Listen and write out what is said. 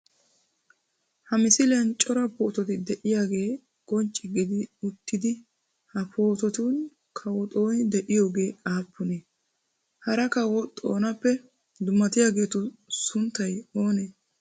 Ha misiliyan cora poototi de'iyogee qoncce gidi uttidi ha poototun kawo Xooni de'iyogee aappunee? Hara kawo Xoonappe dummatiyageetu sunttay oonee?